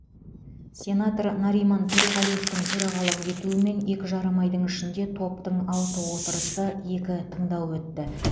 сенатор нариман төреғалиевтің төрағалық етуімен екі жарым айдың ішінде топтың алты отырысы екі тыңдауы өтті